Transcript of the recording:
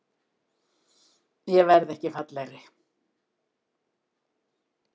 Ég verð ekki fallegri.